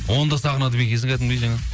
оны да сағынады ма екенсің кәдімгідей жаңағы